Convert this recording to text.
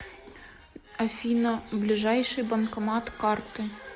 афина ближайший банкомат карты